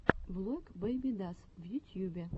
влог бэйбидас в ютьюбе